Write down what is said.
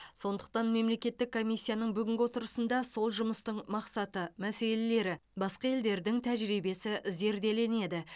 сондықтан мемлекеттік комиссияның бүгінгі отырысында сол жұмыстың мақсаты мәселелері басқа елдердің тәжірибесі зерделенеді